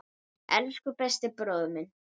Elsku besti bróðir minn.